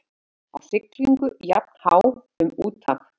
Á siglingu jafnhá um úthaf.